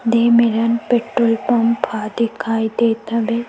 दे मेरन petrol pump ह दिखाई देत हवे।